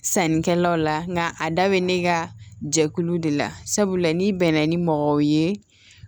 Sannikɛlaw la nka a da bɛ ne ka jɛkulu de la sabula n'i bɛnna ni mɔgɔ ye